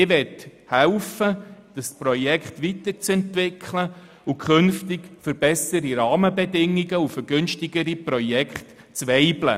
Ich möchte helfen, das Projekt weiterzuentwickeln und künftig für bessere Rahmenbedingungen sowie für günstigere Projekte weibeln.